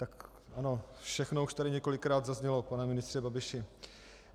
Tak ano, všechno už tady několikrát zaznělo, pane ministře Babiši.